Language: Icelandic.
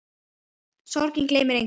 Sorgin gleymir engum.